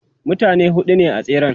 mutane huɗu ne a tseren